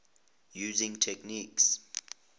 using techniques